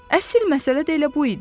Əsil məsələ də elə bu idi.